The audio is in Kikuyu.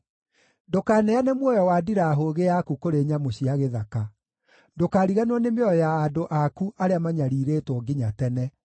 Ndũkaneane muoyo wa ndirahũgĩ yaku kũrĩ nyamũ cia gĩthaka; ndũkariganĩrwo nĩ mĩoyo ya andũ aku arĩa manyariirĩtwo nginya tene.